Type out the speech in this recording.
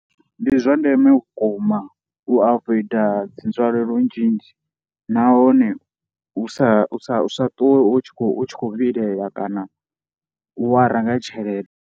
Ndi zwa ndeme vhukuma u avoider dzi nzwalelo nzhinzhi nahone u sa sa sa ṱuwe u tshi u tshi khou vhilela kana u wara nga tshelede.